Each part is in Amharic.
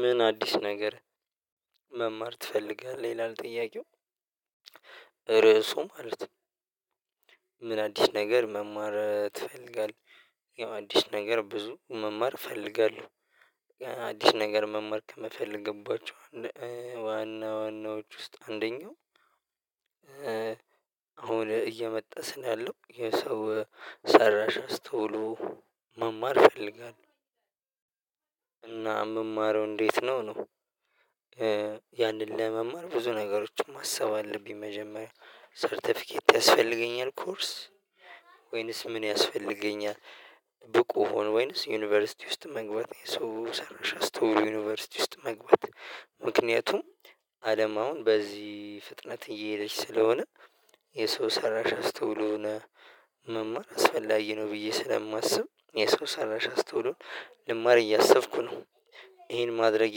ምን አዲስ ነገር መማር ትፈልጋለህ ይላል። ጥያቄው ርዕሱ ማለት ነው። ምን አዲስ ነገር መማር ትፈልጋለህ? ያው አዲስ ነገር ብዙ መማር እፈልጋለሁ። የአዲስ ነገር መማር ከምፈልግባቸው ዋናዎች ውስጥ አንደኛው። አሁን እየመጣ ስላለው የሰው ሰራሽ አስተውሎ መማር እፈልጋለው። እና እምማረው እንዴት ነው ነው። ያንን ለመማር ብዙ ነገሮችን ማሰብ አለብኝ መጀመሪያ ሰርተፊኬት ያስፈልገኛል ኮርስ ወይንስ ምን ያስፈልገኛል? ብቁ ሆኖ ወይንስ ዩኒቨርሲቲ ውስጥ መግባት ሰው ሰራሽ አስተውሎ ዩኒቨርሲቲ ውስጥ መግባት። ምክንያቱም አለም አሁን በዚህ ፍጥነት እየሄደች ስለሆነ። የሰው ሰራሽ አስተውሎን መማር አስፈላጊ ነው ብዬ ስለማስብ የሰው ሰራሽ አስተውሎን ልማር እያሰብኩ ነው። ይሄን ማድረጌ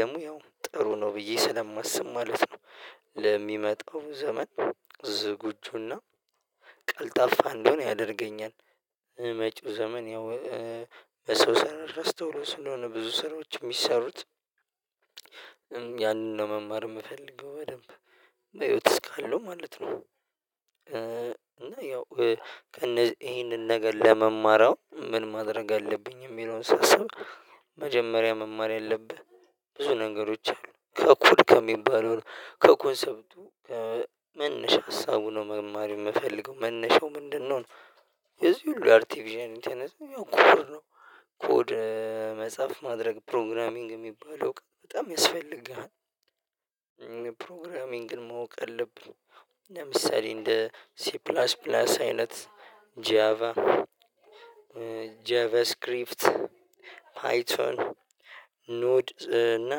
ለሙያው ጥሩ ነው ብዬ ስለማስብ ማለት ነው። ለሚመጣው ዘመን ዝግጁና ቀልጣፋ እንደሆን ያደርገኛል። መጪው ዘመን ያው ሰው ሰራሽ አስተውሎ ስለሆነ ብዙ ሰራዎች የሚሰሩት። ያንን ለመማር እምፈልገው በደንብ በህይወት እስካለው ማለት ነው። እና ያው ይሄንን ነገር ለመማር ምን ማድረግ አለብኝ የሚለውን ሳስብ። መጀመሪያ መማር ያለብህ ብዙ ነገሮች አሉ ከኮድ ከሚባለው ከኮንሰፕቱ ከመነሻ ሀሳቡ ነው መማር የምፈልገው መነሻው ምንድነው ነው። የዚህ ሁሉ አርቴፊሻል ኢንተለጀንስ ያው ኩፍር ነው። ኮድ መጽሐፍ ማድረግ ፕሮግራሚንግ ሚባለው በጣም ያስፈልገሃል። ፕሮግራሚንግን ማወቅ አለብህ ለምሳሌ እንደ ሲፕላስ ፕላስ አይነት ጃቫ ጃቫ ስክሪፍት ፓይቶን ኖድ እና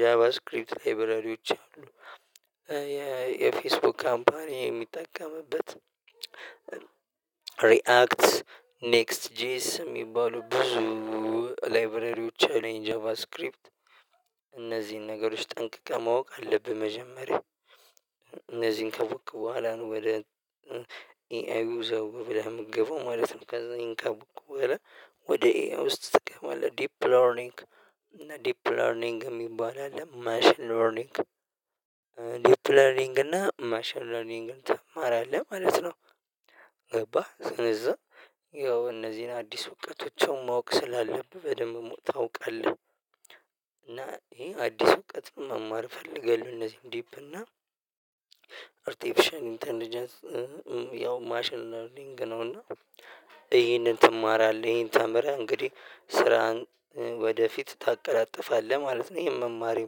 ጃቫ ስክሪፕት ላይብረሪዎች አሉ። የፌስቡክ ካምፓኒ የሚጠቀምበት። ሪአክት ኔክስት ጄኤስ ሚባሉ ብዙ ላይብረሪዎች አለኝ ጃቫስክሪፕት እነዚህን ነገሮች ጠንቅቀህ ማወቅ አለብህ። መጀመሪያ እነዚህን ካወክ በኋላ ነው ወደ ኤአዩ ዘው ብለህ ምገባው ማለት ነው። ከዛ ይሄን ካወክ በኋላ ወደ ኤአይ ውስጥ ትገባለህ። ዲፕ ለርኒንግ እና ዲፕ ለርኒንግ ሚባል አለ ማሽን ለርኒንግ ዲፕ ለርኒንግ እና ማሽን ለርኒንግ ትማራለህ ማለት ነው። ገባህ ስነዛ ያው እነዚን አዲስ እውቀቶችን ማወቅ ስላለብህ በደንብ ታውቃለህ። እና ይሄ አዲስ እውቀት መማር እፈልጋለው። እነዚህን ዲፕ እና አርቴፊሻል ኢንተለጀንስ ያው ማሽን ለርሊንግ ነው። እና ይሄንን ትማራለህ ይሄን ተምረህ እንግዴ ስራህን ወደፊት ታቀላጥፋለህ ማለት ነው። ይሄን መማሬ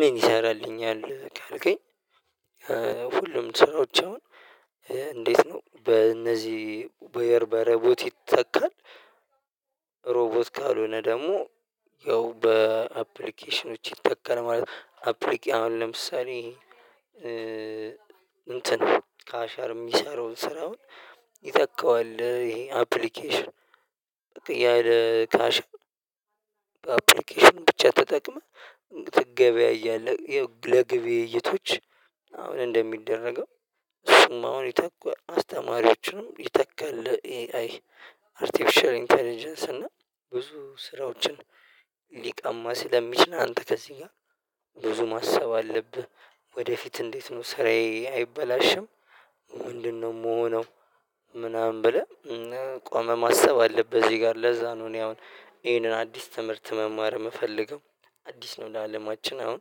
ምን ይሰራልኛል ካልከኝ? ሁሉም ስራዎች አሁን እንዴት ነው በእነዚ በረቦት ይተካል። ሮቦት ካልሆነ ደሞ ያው በአፕሊኬሽኖች ይተካል ማለት ነው። አሁን ለምሳሌ እንትን ካሸር ሚሰራውን ስራ አሁን ይተካዋል። ይሄ አፕሊኬሽን ያለ ካሽ በአፕሊኬሽን ብቻ ተጠቅመህ ትገበያያለህ ለግብይይቶች አሁን እንደሚደረገው እሱም አሁን ይተኳል። አስተማሪዎችንም ይተካል። ለኤአይ አርቲፊሻል ኢንተለጀንስ እና ብዙ ስራዎችን ሊሸማ ስለሚችል አንተ ከዚ ጋ ብዙ ማሰብ አለብህ። ወደፊት እንዴት ነው ስራዬ አይበላሽም? ምንድን ነው ምሆነው? ምናምን ብለህ ቆመ ማሰብ አለብህ እዚ ጋር ለዛ ነው እኔ አሁን ይሄንን አዲስ ትምህርት መማር ምፈልገው። አዲስ ነው ለአለማችን አሁን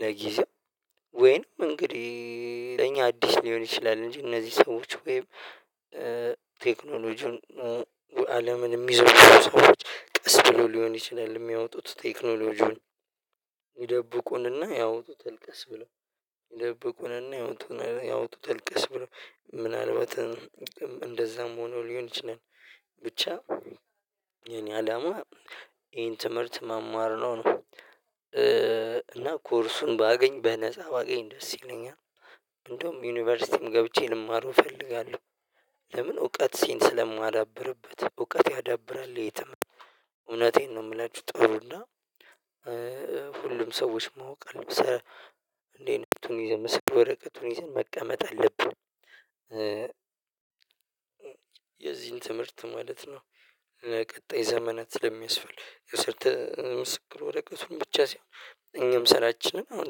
ለጊዜው ወይም እንግዲ ለኛ አዲስ ሊሆን ይችላል። እንጂ እነዚ ሰዎች ወይም ቴክኖሎጂውን አለምን ሚዘውሩ ሰዎች ቀስ ብለው ሊሆን ይችላል ሚያወጡት ቴክኖሎጂውን ይደብቁንና ያወጡታል ቀስ ብለው ይደብቁንና ያወጡታል ቀስ ብለው ምናልባትም እንደዛም ሆኖ ሊሆን ይችላል። ብቻ የእኔ አላማ ይሄን ትምርት መማር ነው። እና ኮርሱን ባገኝ በነፃ ባገኝ ደስ ይለኛል። እንደውም ዩኒቨርሲቲም ገብቼ ልማረው እፈልጋለው። ለምን እውቀቴን ስለማዳብርበት እውቀት ያዳብራል የትም እውነቴን ነው ምላቹ ጥሩ እና። ሁሉም ሰዎች ማወቀል እንዴ እኔ ቱኒዝን ምስግ ወረቀቱን ይዘን መቀመጥ አለብን። የዚን ትምርት ማለት ነው። ለቀጣይ ዘመናት ስለሚያስፈልግ የሰርተ ምስክር ወረቀቱን ብቻ ሳይሆን እኛም ስራችንን አሁን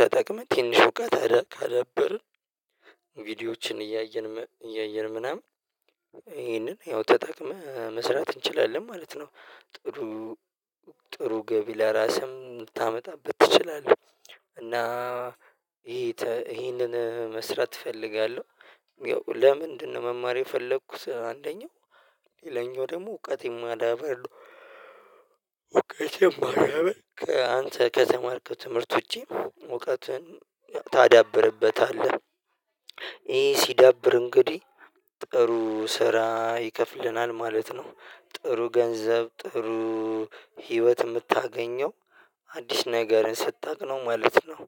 ተጠቅመን ትንሽ እውቀት ካዳበርን ቪዲዮዎችን እያየን እያየን ምናምን ይሄንን ያው ተጠቅመህ መስራት እንችላለን ማለት ነው። ጥሩ ጥሩ ገቢ ለራስህም ምታመጣበት ትችላለህ። እና ይሄንን መስራት እፈልጋለው። ያው ለምንድነው መማር የፈለኩት አንደኛው ሌላኛው ደሞ እውቀቴን ማዳበር እውቀቴን ማዳበር አንተ ከተማርከው ትምርት ውጪ እውቀትን ታዳብርበታለህ። ይሄ ሲዳብር እንግዲ ጥሩ ስራ ይከፍለናል ማለት ነው። ጥሩ ገንዘብ ጥሩ ህይወት ምታገኘው አዲስ ነገርን ስታቅ ነው ማለት ነው።